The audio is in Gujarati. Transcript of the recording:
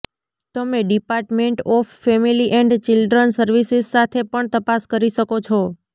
તમે department of family and children services સાથે પણ તપાસ કરી શકો છો